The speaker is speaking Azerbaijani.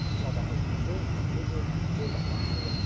Sabahın gücü bu gün burdan başlayır.